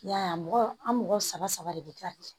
I y'a ye a mɔgɔ an mɔgɔ saba saba de bɛ dilan